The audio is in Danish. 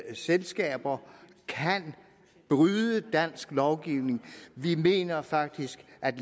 selskaber kan bryde dansk lovgivning vi mener faktisk at